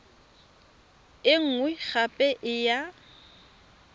e nngwe gape e ya